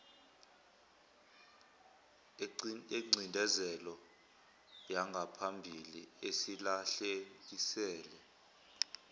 yengcindezelo yangaphambili esilahlekisele